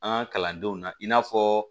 An ka kalandenw na i n'a fɔ